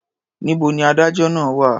Níbo ni adájọ́ náà wà?